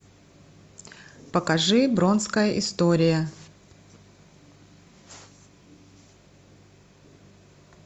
покажи бронская история